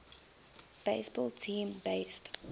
baseball team based